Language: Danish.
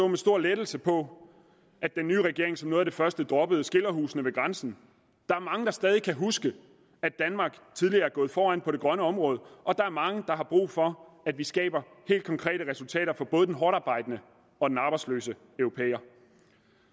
med stor lettelse på at den nye regering som noget af det første droppede skilderhusene ved grænsen der er mange der stadig kan huske at danmark tidligere er gået foran på det grønne område og der er mange der har brug for at vi skaber helt konkrete resultater for både den hårdtarbejdende og den arbejdsløse europæer